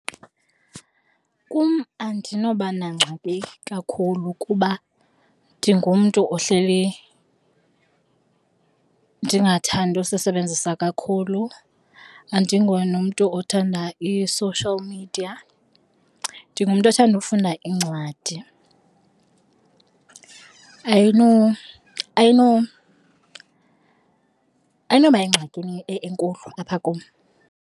Kum andinoba nangxaki kakhulu kuba ndingumntu ohleli ndingathandi usisebenzisa kakhulu, andinguye nomntu othandayo i-social media. Ndingumntu othanda ufunda iincwadi, ayinoba yingxakini enkulu apha kum.